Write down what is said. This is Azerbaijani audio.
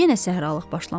Yenə səhralıq başlamışdı.